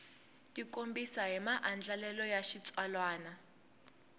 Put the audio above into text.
tikombisa hi maandlalelo ya xitsalwana